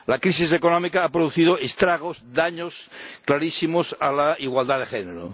La crisis económica ha producido estragos, daños clarísimos a la igualdad de género.